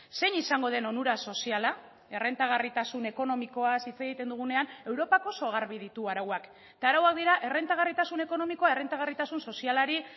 zein izango den onura soziala errentagarritasun ekonomikoaz hitz egiten dugunean europak oso garbi ditu arauak eta arauak dira errentagarritasun ekonomikoa errentagarritasun sozialari